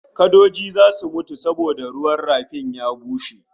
Kadoji zasu mutu saboda ruwan rafin ya bushe